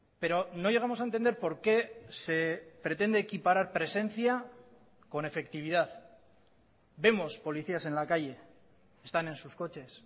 pero no llegamos a entender por qué se pretende equiparar presencia con efectividad vemos policías en la calle están en sus coches